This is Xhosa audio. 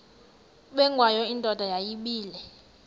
ubengwayo indoda yayibile